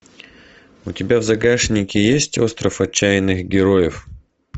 у тебя в загашнике есть остров отчаянных героев